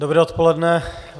Dobré odpoledne.